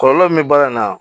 Kɔlɔlɔ min bɛ baara in na